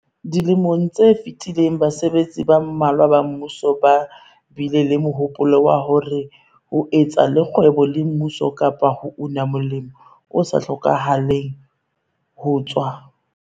Dilemong tse fetileng basebetsi ba mmalwa ba mmuso ba bile le mohopolo wa hore ho etsa le kgwebo le mmuso kapa ho una molemo o sa hlokahaleng ho tswa